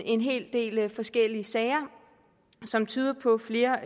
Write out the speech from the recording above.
en hel del forskellige sager som tydede på flere